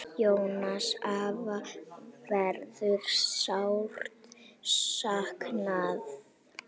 Jóns afa verður sárt saknað.